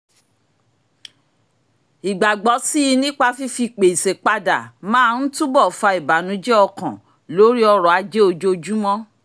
ìgbàgbọ́ síi nípa fífi gbèsè padà máa ń túbò̀ fa ìbànújẹ ọkàn lórí ọrọ̀ ajé ojoojúmọ́